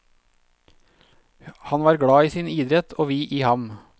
Han var glad i sin idrett, og vi i ham.